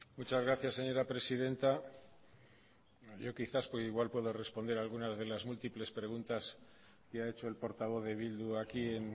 muchas gracias señora presidenta yo quizás igual pueda responder algunas de las múltiples preguntas que ha hecho el portavoz de bildu aquí en